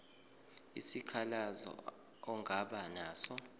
isikhalazo ongaba naso